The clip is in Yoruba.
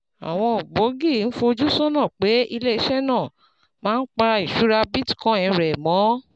Àwọn ògbógi ń fojú sọ́nà pé ilé iṣẹ́ náà máa ń pa ìṣúra Bitcoin rẹ̀ mọ́